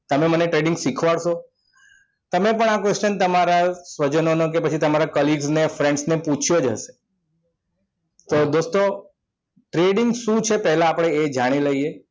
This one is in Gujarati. તમે મને trading શીખવાડશો તમે પણ આ question તમારા સ્વજનોને કે પછી colleagues ને કે friends ને પૂછ્યું જ હશે તો દોસ્તો trading શું છે પહેલા આપણે એ જાણી લઈએ